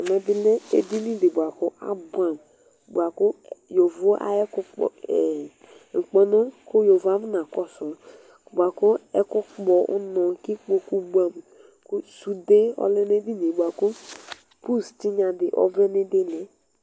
Ɛmɛ bilɛ edinidi bʋakʋ abʋɛamʋ bʋakʋ yovo ayʋ ŋkpɔnʋ kʋ yovo akɔna kɔsʋ bʋakʋ ɛkʋkpɔ ʋnɔ kʋ ikpokʋ bʋɛamʋ kʋ sude ɔlɛ nʋ edinie bʋakʋ pʋs tinyadi ɔvlɛ nʋ idili